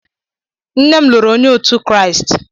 Nne m lụrụ onye òtù Kraịst.